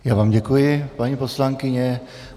Já vám děkuji, paní poslankyně.